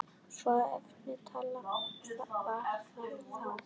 Svo einfalt var það þá.